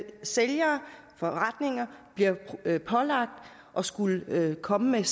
sælgere og forretninger bliver pålagt at skulle komme med